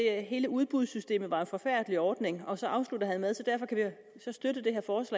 at hele udbudssystemet var en forfærdelig ordning og så afsluttede han med